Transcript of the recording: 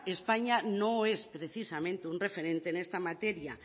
españa no es precisamente un referente en esta materia